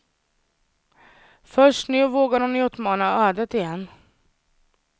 Först nu vågar hon utmana ödet igen.